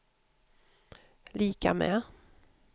lika med